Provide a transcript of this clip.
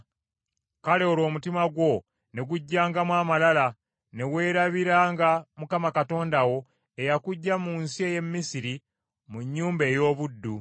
kale olwo omutima gwo ne gujjangamu amalala, ne weerabiranga Mukama Katonda wo eyakuggya mu nsi ey’e Misiri mu nnyumba ey’obuddu.